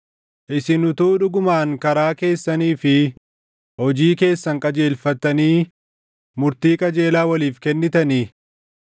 Isin utuu dhugumaan karaa keessanii fi hojii keessan qajeelfattanii murtii qajeelaa waliif kennitanii,